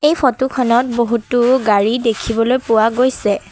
Photo খনত বহুতো গাড়ী দেখিবলৈ পোৱা গৈছে।